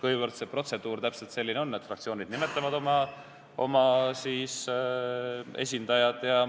Selline see protseduur ju on, et fraktsioonid nimetavad oma esindajad.